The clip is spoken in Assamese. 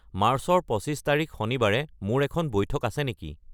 মাৰ্চৰ পঁচিছ তাৰিখ শনিবাৰে মোৰ এখন বৈঠক আছে নেকি